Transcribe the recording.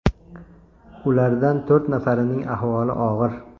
Ulardan to‘rt nafarining ahvoli og‘ir.